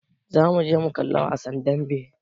Za mu je mu kalla wasan dambe.